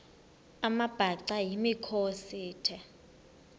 amabhaca yimikhosi the